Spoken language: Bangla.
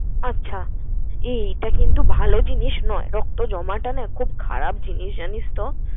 আচ্ছা এই এইটা কিন্তু ভালো জিনিস নয়, রক্ত জমাটা না খুব খারাপ জিনিস জানিস তো?